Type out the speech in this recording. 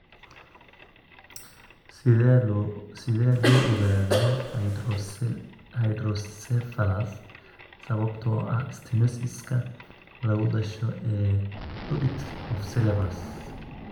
Sidee loo ogaadaa hydrocephalus sababtoo ah stenosis-ka lagu dhasho ee aqueduct of sylvius?